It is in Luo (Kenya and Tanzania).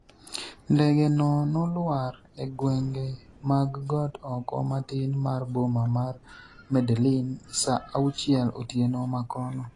ndege no noluar e gwenge mag got oko matin mar boma mar Medellin sa auchiel otieno makono